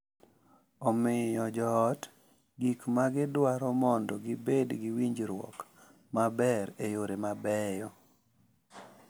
Omiyo joot gik ma gidwaro mondo gibed gi winjruok maber e yore mabeyo,